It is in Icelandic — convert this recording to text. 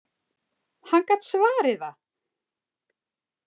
Hann gat svarið það!